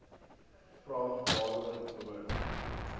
vraag waaroor behoort